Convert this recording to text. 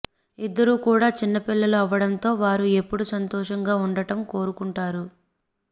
ఇద్దరు కూడా చిన్నపిల్లలు అవ్వడంతో వారు ఎప్పుడు సంతోషంగా ఉండటం కోరుకుంటారు